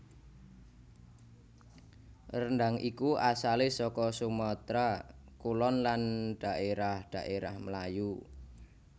Rendhang iku asalé saka Sumatra Kulon lan daérah daérah Melayu